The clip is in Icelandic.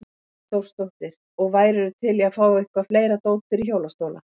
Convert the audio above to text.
Hrund Þórsdóttir: Og værirðu til í að fá eitthvað fleira dót fyrir hjólastóla?